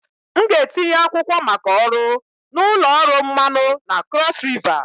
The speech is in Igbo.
M ga-etinye akwụkwọ maka ọrụ na ụlọ ọrụ mmanụ na Cross river